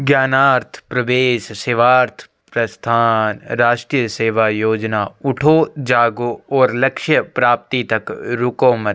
ज्ञानार्थ प्रवेश सेवार्थ प्रस्थान राष्ट्रीय सेवा योजना उठो जागो और लक्ष्य प्राप्ति तक रुको मत --